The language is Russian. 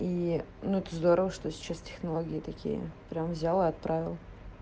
и ну ты здорово что сейчас технология такие прям взял и отправил